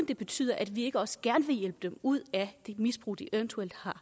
det betyder at vi ikke også gerne vil hjælpe dem ud af det misbrug de eventuelt har